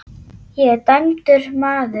Ég er dæmdur maður.